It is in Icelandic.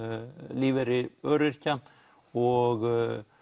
lífeyri öryrkja og